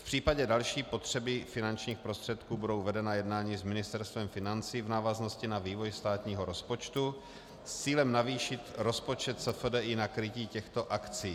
V případě další potřeby finančních prostředků budou vedena jednání s Ministerstvem financí v návaznosti na vývoj státního rozpočtu s cílem navýšit rozpočet SFDI na krytí těchto akcí.